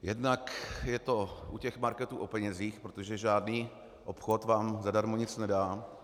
Jednak je to u těch marketů o penězích, protože žádný obchod vám zadarmo nic nedá.